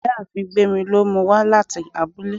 ìyáàfín gbemí lo mú u wa latí abúlé